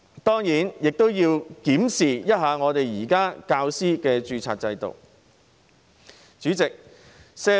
當然，亦要檢視現時教師的註冊制度。